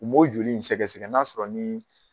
U m'o joli in sɛgɛsɛgɛ n'a sɔrɔ ni